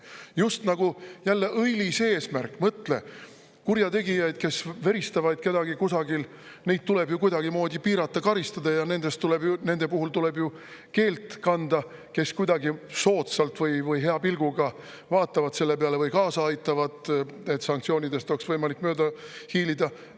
Just nagu jälle õilis eesmärk – mõtle, kurjategijaid, kes veristavad kedagi kusagil, neid tuleb ju kuidagimoodi piirata, karistada ja nende puhul tuleb ju keelt kanda, kes kuidagi soodsalt või hea pilguga vaatavad selle peale või kaasa aitavad, et sanktsioonidest oleks võimalik mööda hiilida.